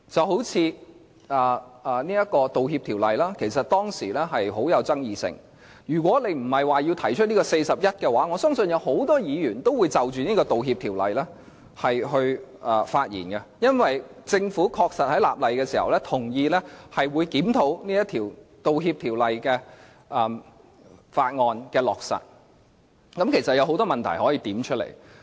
好像《道歉條例》，便很具爭議性，如果不是根據《議事規則》第401條提出議案的話，我相信很多議員都會就着這項條例發言，因為政府在立例的時候同意，會檢討《道歉條例》的落實，若有問題可以指出來。